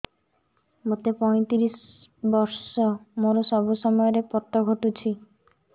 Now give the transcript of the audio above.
ମୋତେ ପଇଂତିରିଶ ବର୍ଷ ମୋର ସବୁ ସମୟରେ ପତ ଘଟୁଛି